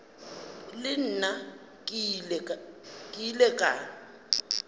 le nna ke ile ka